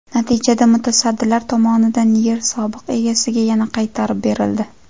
Natijada mutasaddilar tomonidan yer sobiq egasiga yana qaytarib berildi.